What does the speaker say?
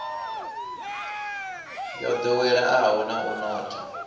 yo ḓoweleaho na u notha